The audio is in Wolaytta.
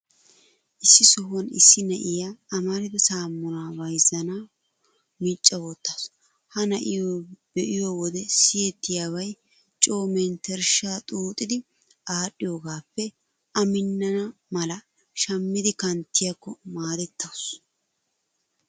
Issi sohuwan issi na'iyaa amarida saamunaa bayzzanawu micca wottaasu. Ha na'iyoo be'iyo wode siyettiyabay coo menttershshaa xuuxidi adhdhiyoogaappe A minnana mala shammidi kanttiyaakko maadettawusu.